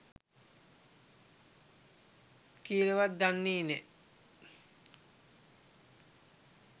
කියලවත් දන්නේ නෑ